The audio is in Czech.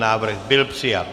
Návrh byl přijat.